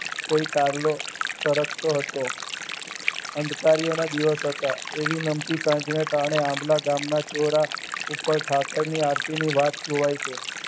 કોઈ કાર્ય ફરકતો હતો અંધ કાર્યના દિવસો હતા એવી નમકીન સાંજને ટાણે આંબળા ગામના ચોર ઉપર ઠાકરની આરતીની વાત જોવાય છે.